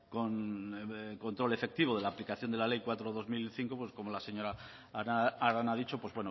con control efectivo de la aplicación de la ley cuatro barra dos mil cinco pues como la señora arana ha dicho pues